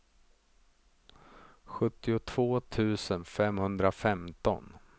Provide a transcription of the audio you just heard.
sjuttiotvå tusen femhundrafemton